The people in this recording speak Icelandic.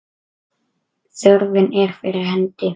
Þörfin er fyrir hendi.